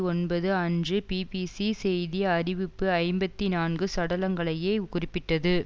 ஒன்பது அன்று பிபிசி செய்தி அறிவிப்பு ஐம்பத்தி நான்கு சடலங்களையே குறிப்பிட்டது